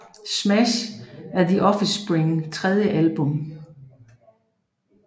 Smash er The Offsprings tredje album